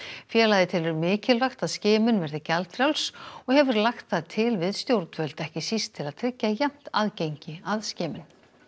félagið telur mikilvægt að skimun verði gjaldfrjáls og hefur lagt það til við stjórnvöld ekki síst til að tryggja jafnt aðgengi að skimun